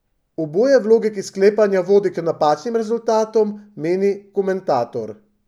Oboje v logiki sklepanja vodi k napačnim rezultatom, meni komentator.